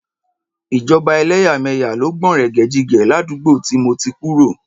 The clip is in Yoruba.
Ìjọba ẹlẹ́yàmẹ̀yà ló gbọ̀nrẹ̀gẹ̀jigẹ̀ ládùúgbò tí mo ti kúrò.